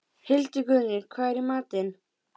Hildigunnur, hvað er í matinn?